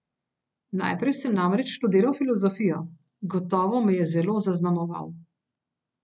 Najprej sem namreč študiral filozofijo, gotovo me je zelo zaznamoval.